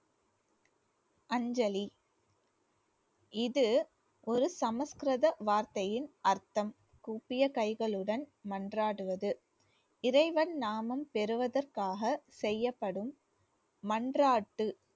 அஞ்சலி இது ஒரு சமஸ்கிருத வார்த்தையின் அர்த்தம் கூப்பிய கைகளுடன் மன்றாடுவது. இறைவன் நாமம் பெறுவதற்காக செய்யப்படும் மன்றாட்டு